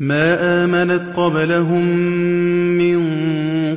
مَا آمَنَتْ قَبْلَهُم مِّن